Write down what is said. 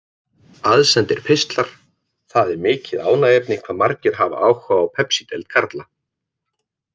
Aðsendir pistlar Það er mikið ánægjuefni hvað margir hafa áhuga á Pepsideild karla.